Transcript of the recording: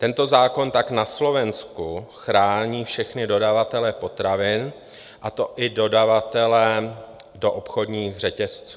Tento zákon tak na Slovensku chrání všechny dodavatele potravin, a to i dodavatele do obchodních řetězců.